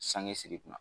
Sange siri kunna